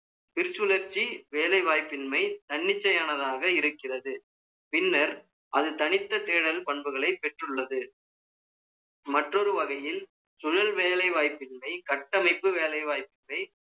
திருச்சுழர்ச்சி, வேலை வாய்ப்பின்மை, தன்னிச்சையானதாக இருக்கிறது. பின்னர், அது தனித்த தேடல் பண்புகளை பெற்றுள்ளது. மற்றொரு வகையில், சுழல் வேலை வாய்ப்பின் கட்டமைப்பு வேலைவாய்ப்பை